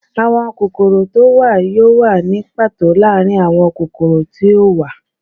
Awọn kokoro to wa yoo wa ni pato laarin awọn kokoro ti o wa